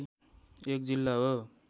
एक जिल्ला हो